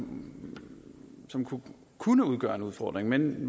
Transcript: som kunne kunne udgøre en udfordring men